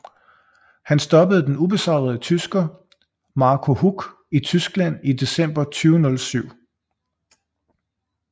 Han stoppede den ubesejrede tysker Marco Huck i Tyskland i december 2007